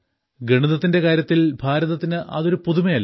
ഗണിതത്തിന്റെ കാര്യത്തിൽ ഭാരതത്തിന് അതൊരു പുതുമയല്ല